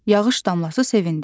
Yağış damlası sevindi.